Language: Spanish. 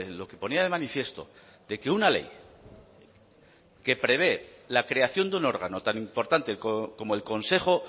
lo que ponía de manifiesto de que una ley que prevé la creación de un órgano tan importante como el consejo